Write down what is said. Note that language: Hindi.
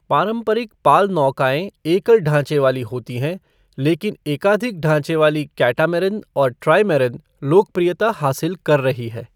पारंपरिक पाल नौकाएं एकल ढाँचे वाली होती हैं, लेकिन एकाधिक ढाँचे वाली कैटामैरान और ट्राइमैरान लोकप्रियता हासिल कर रही हैं।